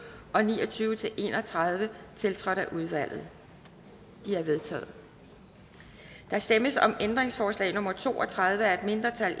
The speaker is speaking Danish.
og ni og tyve til en og tredive tiltrådt af udvalget de er vedtaget der stemmes om ændringsforslag nummer to og tredive af et mindretal